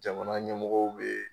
Jamana ɲɛmɔgɔw be